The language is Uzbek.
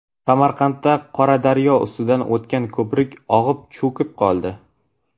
Samarqandda Qoradaryo ustidan o‘tgan ko‘prik og‘ib, cho‘kib qoldi.